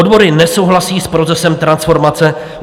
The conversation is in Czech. Odbory nesouhlasí s procesem transformace.